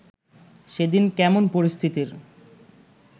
সেদিন কেমন পরিস্থিতির